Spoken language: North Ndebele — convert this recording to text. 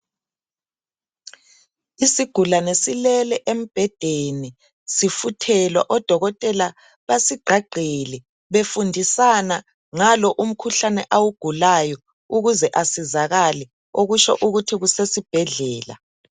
Isigulane silele embhedeni sifuthelwa. Odokotela basigqagqele befundisana ngalo umkhuhlane awugulayo ukuze esizakale. Okutsho ukuthi kusesibhedlela.